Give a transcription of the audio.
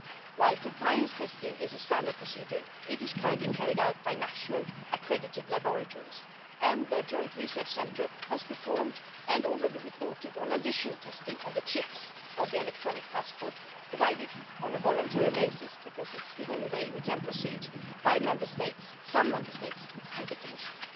While compliance testing is a standard procedure, it is currently carried out by national accredited laboratories, and the Joint Research Centre has performed and already reported on additional testing of the chips on electronic passports provided on a voluntary basis because it is the only way we can proceed by some Member States to the Commission.